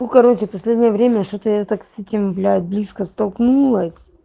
ну короче в последнее время что-то я так с этим блядь близко столкнулась